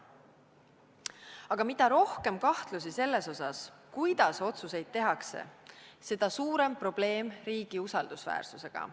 Aga mida rohkem kahtlusi selles osas, kuidas otsuseid tehakse, seda suurem probleem riigi usaldusväärsusega.